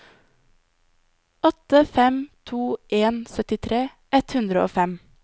åtte fem to en syttitre ett hundre og fem